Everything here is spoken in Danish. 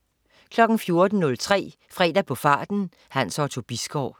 14.03 Fredag på farten. Hans Otto Bisgaard